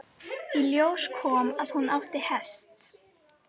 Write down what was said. Í ljós kom að hún átti hest.